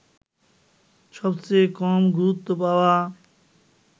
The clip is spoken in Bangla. সবচেয়ে কম গুরুত্ব পাওয়া